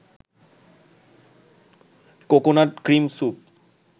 coconut cream soup